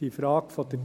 Bei der Frage der